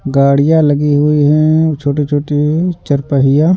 गाड़ियाँ लगी हुई हैं छोटी-छोटी चार पहिया।